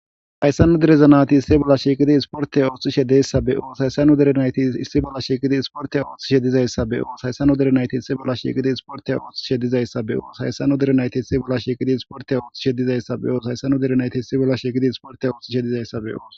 hayssanu derezanati isti bolla shiiqidi isporteya ooththi shedeyssabeqo haysanu derenayti issi bolla shiikidi isportey ooththi shedizayssabeo shaysanu derenayti issi bolla shiiqidi isporteya oothth shedizayssabe oo haysanu derenayti istibolla shiikidi isporte ooththi shedizayssabeo shaysanu derenayti issibolla shikidi isporte ooththi shedizayssabeo